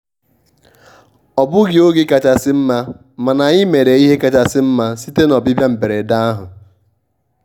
ọ bụghị oge kachasị mma mana anyị mere ihe kachasị mma site na ọbịbịa mberede ahụ.